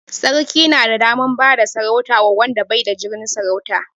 Sarki na da daman bada sarauta wa wanda bai da jinin sarauta